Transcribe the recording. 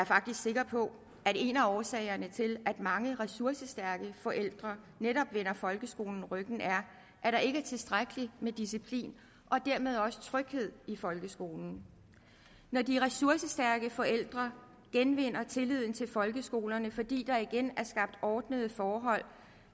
faktisk sikker på at en af årsagerne til at mange ressourcestærke forældre netop vender folkeskolen ryggen er at der ikke er tilstrækkelig med disciplin og dermed tryghed i folkeskolen når de ressourcestærke forældre genvinder tilliden til folkeskolen fordi der igen er skabt ordnede forhold